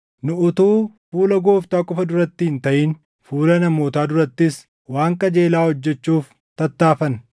Nu utuu fuula Gooftaa qofa duratti hin taʼin fuula namootaa durattis waan qajeelaa hojjechuuf tattaaffanna.